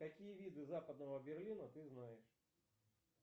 какие виды западного берлина ты знаешь